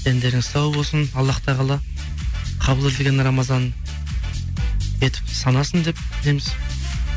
дендеріңіз сау болсын аллах тағала қабыл етілген рамазан етіп санасын деп тілейміз